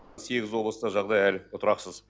сегіз облыста жағдай әлі тұрақсыз